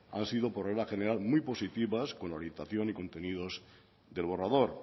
han sido por regla general muy positivas con orientación y contenidos del borrador